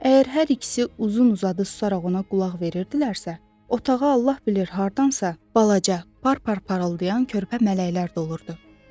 Əgər hər ikisi uzun-uzadı susaraq ona qulaq verirdilərsə, otağa Allah bilir hardansa balaca, bar-bar parıldayan körpə mələklər dolurdu.